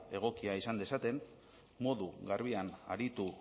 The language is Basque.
egokia izan dezaten modu garbian aritu